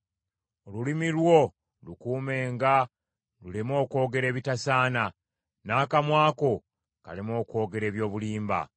Olulimi lwo lukuumenga luleme okwogera ebitasaana, n’akamwa ko kaleme okwogera eby’obulimba.